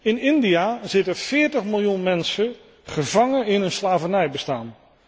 In India zitten veertig miljoen mensen gevangen in een slavernijbestaan.